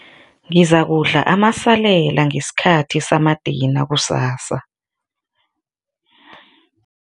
Ngizakudla amasalela ngesikhathi samadina kusasa.